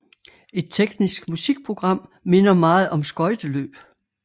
Et teknisk musikprogram minder meget om skøjteløb